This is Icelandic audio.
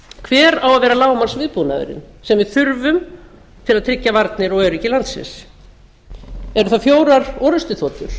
hver á að vera lágmarksviðbúnaðurinn sem við þurfum til að tryggja varnir og öryggi landsins eru það fjórar orrustuþotur